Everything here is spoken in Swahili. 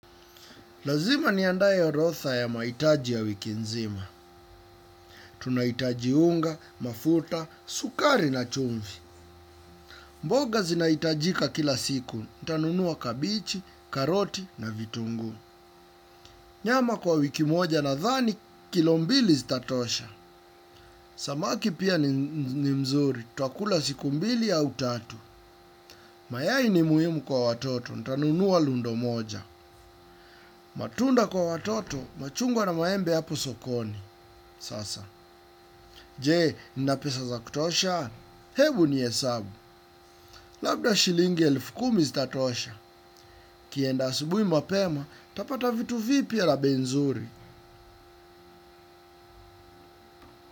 Lazima niandae orodha ya mahitaji ya wiki nzima. Tunahitaji unga, mafuta, sukari na chumvi. Mboga zinahitajika kila siku, nitanunua kabichi, karoti na vitunguu. Nyama kwa wiki moja nadhani, kilo mbili zitatosha. Samaki pia ni nzuri, tutakula siku mbili au tatu. Mayai ni muhimu kwa watoto, nitanunua lundo moja. Matunda kwa watoto, machungwa na maembe yapo sokoni. Sasa. Je, nina pesa za kutosha? Hebu nihesabu. Labda shilingi elfu kumi zitatosha. Nikienda asubuhi mapema, nitapata vitu vipya na bei nzuri.